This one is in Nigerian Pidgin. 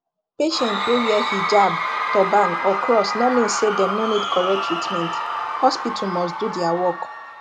patient wey wear hijab turban or cross no mean say dem no need correct treatment hospital must do dia work